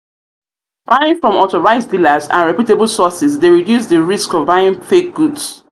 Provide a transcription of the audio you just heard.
buying from authorized dealers and reputable sources dey reduce di risk of buying fake goods